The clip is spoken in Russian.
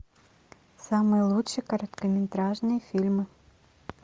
самые лучшие короткометражные фильмы